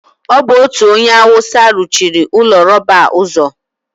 ọ bụ otu onye awụsa ruchiri ụlọ rọba a ụzọ.